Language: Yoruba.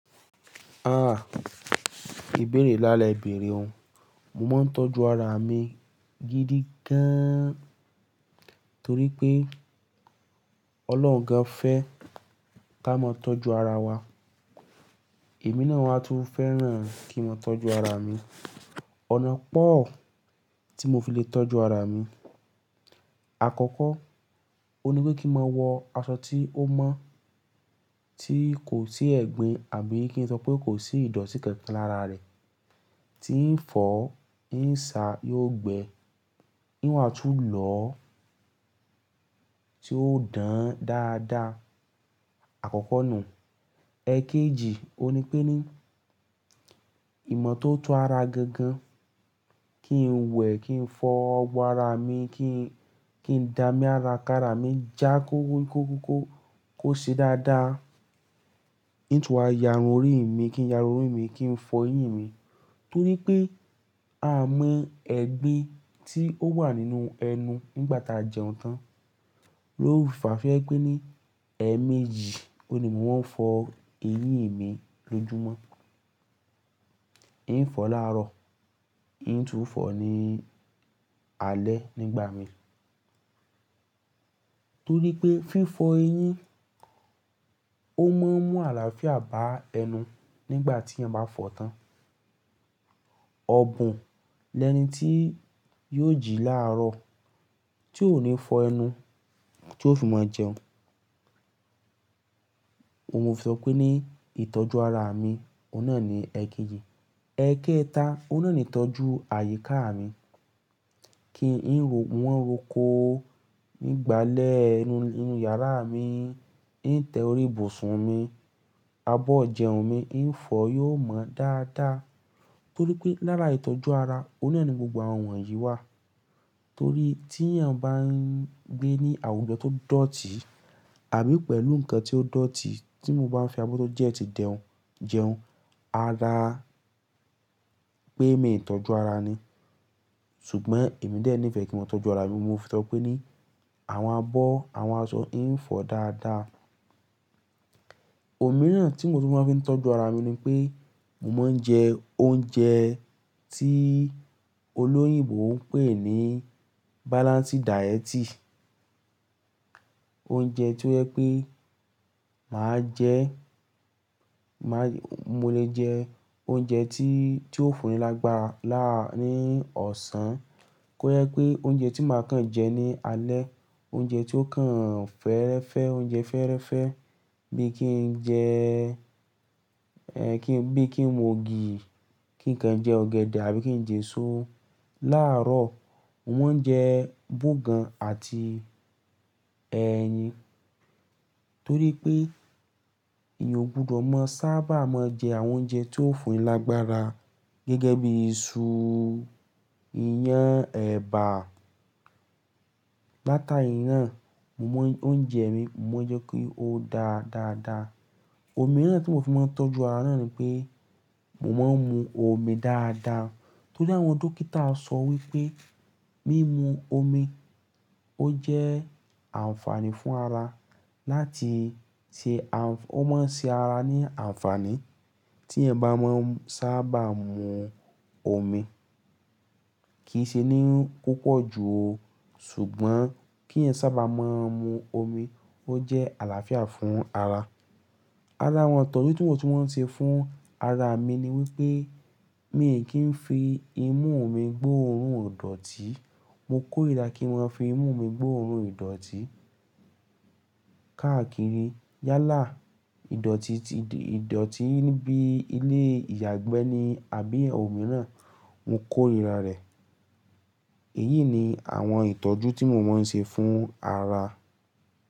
Ah! Íbéèrè ńlá lẹ́ béèrè o. Mo máa ń tọ́jú ara mi gidi gaaán, torí pé Ọlọ́run gan fẹ́ ká ma tọ́jú ara wa. Èmi náà wa tún fẹ́ràn kí n máa tọ́jú ara mi. Ọ̀nà pọ̀ tí mo fi le tọ́jú ara mi. Àkọ́kọ́, ón ní pé kí n máa wọ aṣọ tí ó mọ́, tí kò sí ẹ̀gbin àbí kí n sọ pé kò sí ìdọ̀tí kankan lára rẹ̀. Tí ń fọ̀ọ́, ń sáa, yóò gbẹ, n o wàá tún lọ ọ́, tí ó dán dáadáa. Àkọ́kọ́ nùu. Ẹ̀ kéjì, ó ní pé ní ìmọ̀ tó tó ara gangan, kí n wẹ̀, kí n fọ ọwọ́ ara mi, kí n, kí n dami ara ká ara mi, já kó kó kó ṣe dáadáa. Ng o tún wá yàrun orí mi, kí n yàrun orí mi, kí n fọ eyín mi. Torí pé a mọ ẹ̀gbin tí ó wà nínú ẹnu nígbà tí a jẹun tán. Ló nfaà tó jẹ́ pé ní ẹ̀ méjì, ó ní mo máa ń fọ eyín mi lóju mọ́. Ì ń fọ láàárọ̀, Ì ń tún fọ ní alẹ́ nígba mi. Torí pé fífo eyín, ó máa ń mú àlàáfíà bá ẹnu nígbà téèyàn bá fọ̀ tán. Ọ̀bùn lẹ́ni tí yóò jí láàárọ̀, tí ó ní fọ ẹnu, tí ó fi máa jẹun. Ohun mo fi sọ pé ní ìtọ́jú ara mi, ó náà ni ẹ̀ kejì. Ẹ̀ké-ta, óun náà ni ìtọ́jú àyíká mi. Kí ń rò no ma ńroko ng' gbàlẹ́ ẹnu inú yàrá mi, ìn tẹ orí bùsùn mi, abọ́ ijẹun mi ìn fọ yóò mọ dáadáa. Torí pé lára ìtọ́jú ara, ó náà ni gbogbo àwọn wọ̀nyí wà. Torí tí èèyàn bá ń gbé ní àwùjọ tó dọ̀tí, àbí pẹ̀lú nǹkan tí ó dọ̀tí tí mo bá fi abọ́ tó dẹ́ti jẹun jẹun, ara pé mii tọ́jú ara ni. Ṣùgbọ́n èmi dé ní ìfẹ́ kí n máa tọ́jú ara mi, mo fi sọ pé ní àwọn abọ́, àwọn aṣọ ìn fọ dáadáa. Òmíràn tí mo ti máa fi ń tọ́jú ara mi ni pé mo máa ń jẹ oúnjẹ tí olóyìnbo ń pè ní balansi dayeti. Oúnjẹ tí ó yẹ pé màá jẹẹ, mo lè jẹ oúnjẹ tí ó fúnni lágbára ní ọ̀sán, kó yẹ pé oúnjẹ tí màá kàn jẹ ní alẹ́, oúnjẹ tí ó kàn fẹ́ẹ́rẹ́fẹ́, oúnjẹ fẹ́ẹ́rẹ́fẹ́ bí kí ń jẹ, ẹ kí n bí kí n mu ògì, kí n kan jẹ ọ̀gẹ̀dẹ̀ àbí kí n jẹ eṣú láàárọ̀. Mo máa ń jẹ bógan àti ẹyin. Torí pé èèyàn ò gbọdọ̀ máa sábà máa jẹ àwọn oúnjẹ tí ó fúnni lágbára gẹ́gẹ́ bí iṣu, iyán, ẹ̀bà. Láta ìran, mo mọ oúnjẹ mi, mo ma n jẹ́ kí ó dá dáadáa. Òmíràn tí mo ti máa ń tọ́jú ara náà ni pé mo máa ń mu omi dáadáa. Torí àwọn dókítà sọ wí pé mímu omi ó jẹ́ ànfààní fún ara láti ṣe ànf-- ó máa ń ṣe ara ní ànfààní tí èèyan bá máa ń sábà mu omi. Kì í ṣe ní púpọ̀ jù o, ṣùgbọ́n k'êyán sábà máa mu omi ó jẹ́ àlàáfíà fún ara. Ara àwọn ìtọ́jú tí mo ti máa ń ṣe fún ara mi ni wípé mi kì í fi imú mi gbó òórùn ìdọ̀tí. Mo kórìíra kí ma fi imú mi gbó òórùn ìdọ̀tí. Káàkiri yálà ìdọ̀tí ti ìdọ̀tí níbí ilé ìyàgbẹ́ ni àbí ẹ̀ òmíràn, mo kórìíra rẹ̀. Èyí ni àwọn ìtọ́jú tí mo máa ń ṣe fún ara.